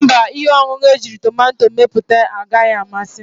Mba, ihe ọṅụṅụ ejiri tomato mepụta anaghị amasị m.